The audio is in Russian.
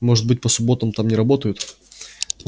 может быть по субботам там не работают